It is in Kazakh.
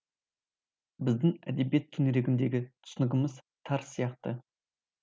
біздің әдебиет төңірегіндегі түсінігіміз тар сияқты